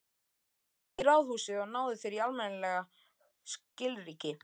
Farðu í ráðhúsið og náðu þér í almennileg skilríki.